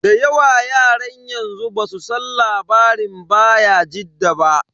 Da yawa yaran yanzu basu san labarin bayajidda ba.